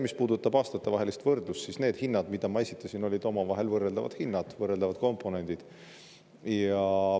Mis puudutab aastatevahelist võrdlust, siis need hinnad, mis ma esitasin, olid omavahel võrreldavad hinnad, võrreldavad komponendid.